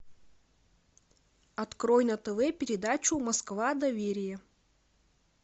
открой на тв передачу москва доверие